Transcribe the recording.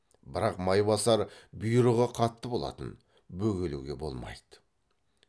бірақ майбасар бұйрығы қатты болатын бөгелуге болмайды